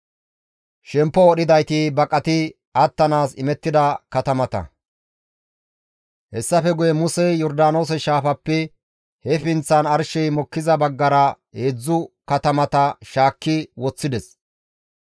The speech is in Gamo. Hessafe guye Musey Yordaanoose shaafappe he pinththan arshey mokkiza baggara heedzdzu katamata shaakki woththides.